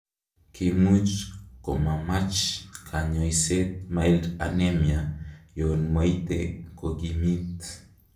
Kimuch komamach konyoiset Mild anemia yon moite kokimit.